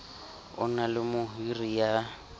o na le mohiri ya